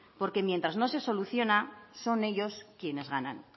porque mientras no se soluciona son ellos quienes ganan